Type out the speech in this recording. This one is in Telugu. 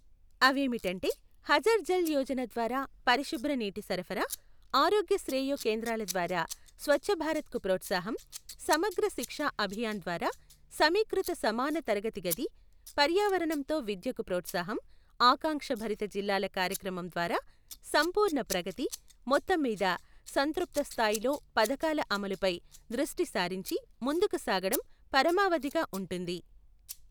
అవేమిటంటే హర్ఘర్ జల్ యోజన ద్వారా పరిశుభ్ర నీటి సరఫరా, ఆరోగ్య శ్రేయో కేంద్రాల ద్వారా స్వచ్ఛభారత్కు ప్రోత్సాహం, సమగ్ర శిక్షా అభియాన్ ద్వారా సమీకృత సమాన తరగతి గది, పర్యావరణంతో విద్యకు ప్రోత్సాహం, ఆకాంక్షభరిత జిల్లాల కార్యక్రమం ద్వారా సంపూర్ణ ప్రగతి, మొత్తంమీద సంతృప్త స్థాయిలో పథకాల అమలుపై దృష్టి సారించి ముందుకు సాగడం పరమావధిగా ఉంటుంది.